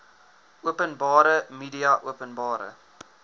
openbare media openbare